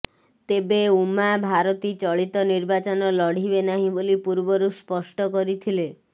ତେବେ ଉମା ଭାରତୀ ଚଳିତ ନିର୍ବାଚନ ଲଢ଼ିବେ ନାହିଁ ବୋଲି ପୂର୍ବରୁ ସ୍ପଷ୍ଟ କରିଥିଲେ